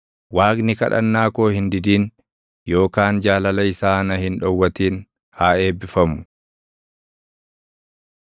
Waaqni kadhannaa koo hin didin yookaan jaalala isaa na hin dhowwatin haa eebbifamu!